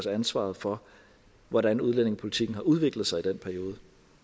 ansvaret for hvordan udlændingepolitikken har udviklet sig i den periode